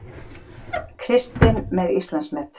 Kristinn með Íslandsmet